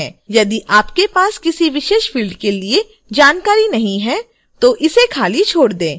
यदि आपके पास किसी विशेष फ़िल्ड के लिए जानकारी नहीं है तो इसे खाली छोड़ दें